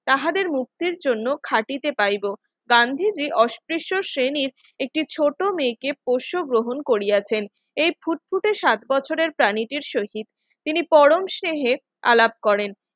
তাহাদের মুক্তির জন্য খাঁটিতে পাইব গান্ধী যে অস্পৃশ শ্রেণীর একটি ছোট মেয়েকে পশু গ্রহণ করিয়াছেন এই ফুটফুটে সাত বছরের প্রাণীদের শহীদ তিনি পরম স্নেহে আলাপ করেন